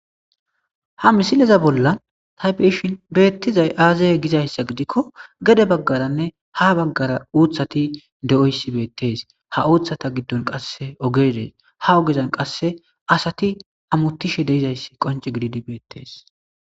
Ha misileza bolla taybeshin beettizay aazaye gizayssa gidikko gede baggaranne ha baggara uuthati de7oyssi beettes ha uuthata giddon qasse ogedeys ha ogeezan qasse asati amuttishe deizayssi qonci gididi beettees.